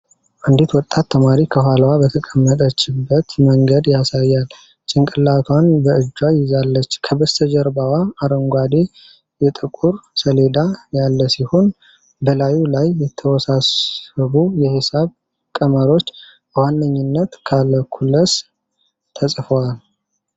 አንዲት ወጣት ተማሪ ከኋላዋ በተቀመጠችበት መንገድ ያሳያል፣ ጭንቅላቷን በእጇ ይዛለች። ከበስተጀርባዋ አረንጓዴ የጥቁር ሰሌዳ ያለ ሲሆን፣ በላዩ ላይ የተወሳሰቡ የሂሳብ ቀመሮች (በዋነኝነት ካልኩለስ) ተጽፈዋል።